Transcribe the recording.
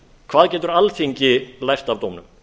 hvað getur alþingi lært af dómnum